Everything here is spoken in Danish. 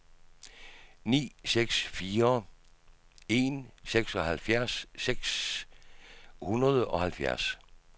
ni seks fire en seksoghalvfjerds seks hundrede og halvfjerds